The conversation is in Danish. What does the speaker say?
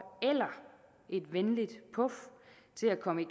eller et venligt puf til at komme i